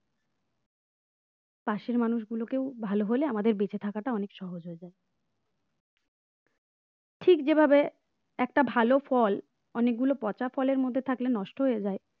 পাশের মানুষগুলো কেউ ভালো হলে আমাদের বেঁচে থাকাটা অনেক সহজ হবে ঠিক যেভাবে একটা ভালো ফল অনেকগুলো পচা ফলের মধ্যে থাকলে নষ্ট হয়ে যায়।